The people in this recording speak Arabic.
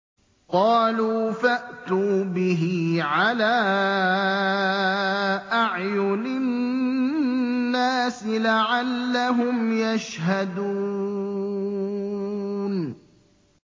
قَالُوا فَأْتُوا بِهِ عَلَىٰ أَعْيُنِ النَّاسِ لَعَلَّهُمْ يَشْهَدُونَ